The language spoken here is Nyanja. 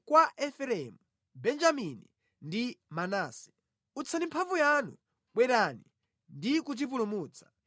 kwa Efereimu, Benjamini ndi Manase. Utsani mphamvu yanu; bwerani ndi kutipulumutsa.